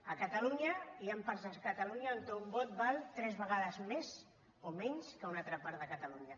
a catalunya hi han parts de catalunya on un vot val tres vegades més o menys que a una altra part de catalunya